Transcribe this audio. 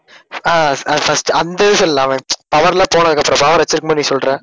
ஆஹ் அஹ் அஹ் அந்த இது சொல்லலாமே power எல்லாம் போனதுக்கு அப்புறம் power வச்சிருக்கும் போது நீ பண்ணி சொல்ற